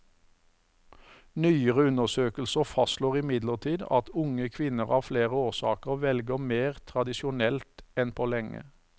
Nyere undersøkelser fastslår imidlertid at unge kvinner av flere årsaker velger mer tradisjonelt enn på lenge.